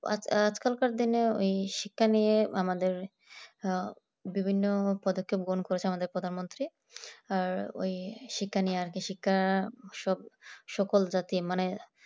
আজ কাল কার দিনে ওই শিক্ষা নিয়ে আমাদের আহ বিভিন্ন পদক্ষেপ গ্রহণ করেছে আমাদের প্রধানমন্ত্রী আর ওই শিক্ষা নিয়ে আর কি শিক্ষা সকল জাতি মানে